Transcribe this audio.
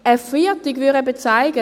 Ein Feiertag würde zeigen: